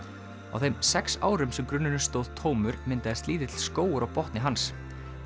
á þeim sex árum sem grunnurinn stóð tómur myndaðist lítill skógur á botni hans